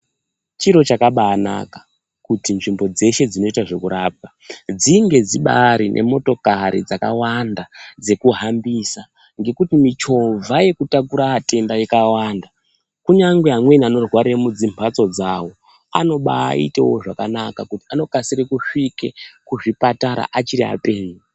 Chiro chakabaanaka kuti nzvimbo dzeshe dzinoite zvekurapa dzinge dzibari motokari dzakawanda dzekuhambisa ngekuti michovha yekutakure atenda ikawanda kunyangwe amweni anorwarire mudzimhatso dzawo anobaitewo zvakanaka nekuti anokasire kusvike kuzvipatara achiri apenyu.